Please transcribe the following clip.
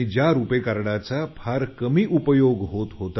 ज्या रुपे कार्डचा फारच कमी उपयोग होत आहे